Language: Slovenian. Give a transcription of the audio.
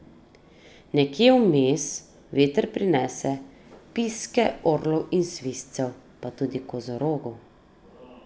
Nekje vmes veter prinese piske orlov in svizcev, pa tudi kozorogov.